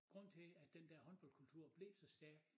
Grunden til at den dér håndboldkultur blev så stærk